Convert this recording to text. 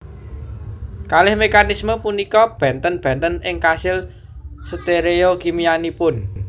Kalih mekanisme punika benten benten ing kasil stereokimianipun